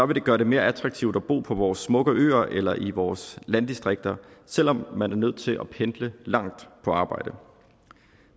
det gøre det mere attraktivt at bo på vores smukke øer eller i vores landdistrikter selv om man er nødt til at pendle langt på arbejde